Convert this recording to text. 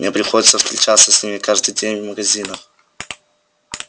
мне приходится встречаться с ними каждый день в магазинах